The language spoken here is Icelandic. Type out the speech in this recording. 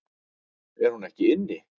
Er hún ekki inni?